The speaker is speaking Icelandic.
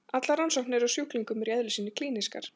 Allar rannsóknir á sjúklingum eru í eðli sínu klínískar.